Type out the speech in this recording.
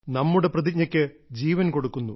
നമ്മുടെ പ്രതിജ്ഞക്ക് ജീവൻ കൊടുക്കുന്നു